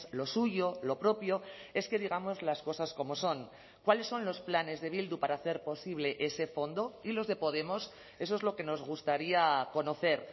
lo suyo lo propio es que digamos las cosas como son cuáles son los planes de bildu para hacer posible ese fondo y los de podemos eso es lo que nos gustaría conocer